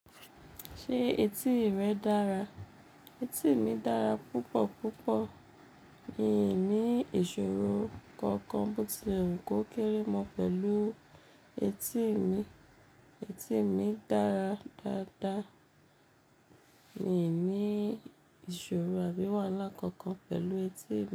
Ṣé etí rẹ dára? Etí mi dára púpọ̀ púpọ̀. Mi ò ní ìṣòro kankan bó ti lewu kó kéré mọ́ pẹ̀lú etí mi. Etí mi dára dáadáa. Mi ò ní ìṣòro àbí wàhálà kankan pẹ̀lú etí mi.